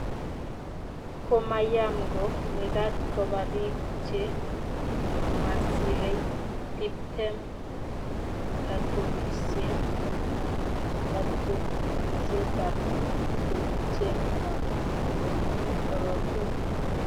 komayam ko mekat koba biik che masirei tiptem katubisie anan katunisietab tupcheng'wang' nebo korotik.